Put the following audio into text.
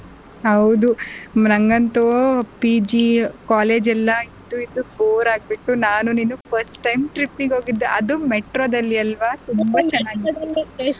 ಹೌದು ನಂಗ್ ಅಂತೂ PG college ಎಲ್ಲ ಇದ್ದು ಇದ್ದು bore ಆಗ್ಬಿಟ್ಟು ನಾನು ನೀನೂ first time trip ಗ್ ಹೋಗಿದ್ದು ಅದು metro ದಲ್ಲಿ ಅಲ್ವಾ ತುಂಬಾ ಚೆನಾಗಿತ್ತು.